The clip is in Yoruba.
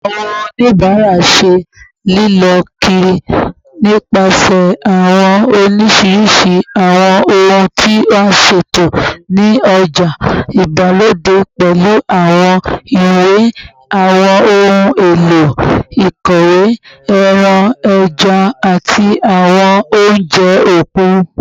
Awọn onibara ṣe lilọ kiri nipasẹ awọn oriṣiriṣi awọn ohun ti a ṣeto ni oja igbalode, pẹlu awọn iwe, awọn ohun elo ikọwe, ẹran, ẹja, ati awọn ounjẹ okun